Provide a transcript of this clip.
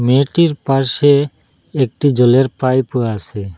এটির পাশে একটি জলের পাইপও আছে।